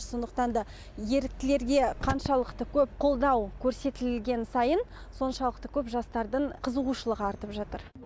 сондықтан да еріктілерге қаншалықты көп қолдау көрсетілген сайын соншалықты көп жастардың қызығушылығы артып жатыр